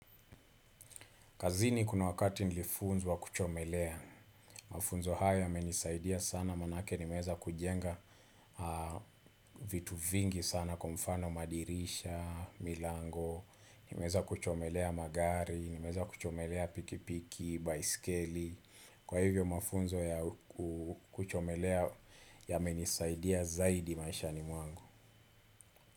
Kazini kuna wakati nilifunzwa wa kuchomelea, mafunzo haya yamenisaidia sana manake nimeweza kujenga vitu vingi sana kwa mfano madirisha, milango, nimeweza kuchomelea magari, nimeweza kuchomelea pikipiki, baiskeli, kwa hivyo mafunzo ya kuchomelea yamenisaidia zaidi maishani mwangu.